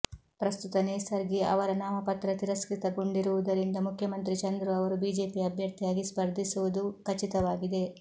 ಪ್ರಸ್ತುತ ನೇಸರ್ಗಿ ಅವರ ನಾಮಪತ್ರ ತಿರಸ್ಕೃತಗೊಂಡಿರುವುದರಿಂದ ಮುಖ್ಯಮಂತ್ರಿ ಚಂದ್ರು ಅವರು ಬಿಜೆಪಿ ಅಭ್ಯರ್ಥಿಯಾಗಿ ಸ್ಪರ್ಧಿಸುವುದು ಖಚಿತವಾಗಿದೆ